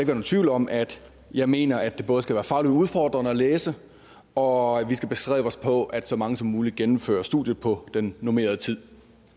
nogen tvivl om at jeg mener at det både skal være fagligt udfordrende at læse og at vi skal bestræbe os på at så mange som muligt gennemfører studiet på den normerede tid